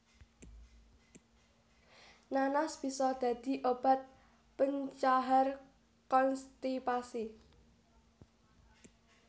Nanas bisa dadi obat pencahar konstipasi